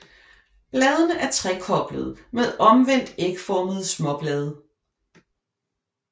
Bladene er trekoblede med omvendt ægformede småblade